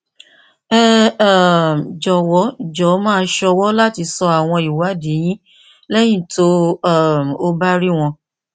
ẹ um jọwọ jọ máa sọwọ láti sọ àwọn ìwádìí yín lẹyìn tó um o bá rí wọn